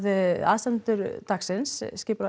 aðstandendur dagsins